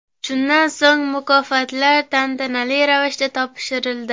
Shundan so‘ng mukofotlar tantanali ravishda topshirildi.